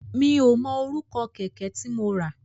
Mi ò mọ orúkọ kẹ̀kẹ́ tí mo rà.